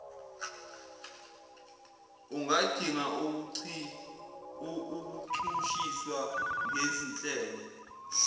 ungadinga ukuchushiswa ngezinhlelo